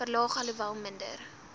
verlaag alhoewel minder